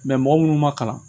mɔgɔ munnu ma kalan